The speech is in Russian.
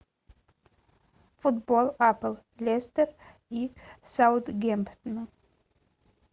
футбол апл лестер и саутгемптон